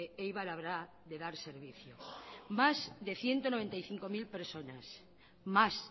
eibar habrá de dar servicio más de ciento noventa y cinco mil personas más